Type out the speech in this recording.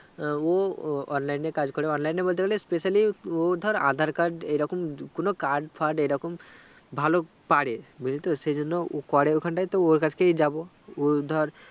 ও online এ কাজ করে online এ বলতে গেলে specially ও ধর aadhar card এইরকম কোনো card ফার্ড এইরকম ভালো পারে বুজলিতো সেই জন ওকরে ওখানটায় তো ওর কাছে যাবো ও ধরে